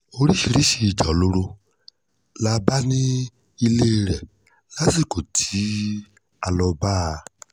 oríṣiríṣiì ìjà olóró la bá nílé rẹ̀ lásìkò tá a lọ́ọ bá a